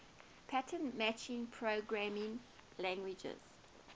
pattern matching programming languages